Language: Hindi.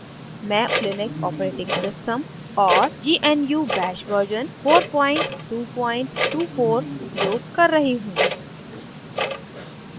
मैं लिनक्स operating system और gnu bash version 4224 उपयोग कर रही हूँ